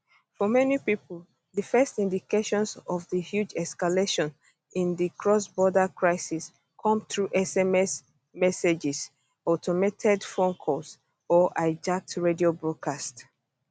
for many pipo di first indications of di huge escalation in di crossborder crisis come through sms messages automated phone calls or hijacked radio broadcasts